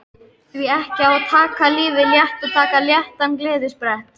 Því ekki að taka lífið létt og taka léttan gleðisprett